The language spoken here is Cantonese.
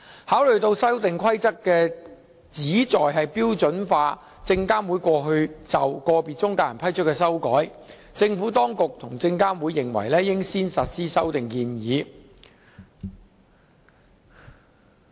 考慮到《修訂規則》旨在標準化證監會過去就個別中介人批出的修改，政府當局及證監會認為應先實施修訂建議。